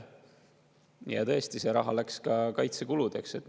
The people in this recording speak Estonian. Ja tõesti, see raha läks ka kaitsekuludeks.